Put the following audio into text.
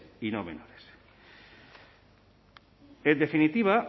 y no menores en definitiva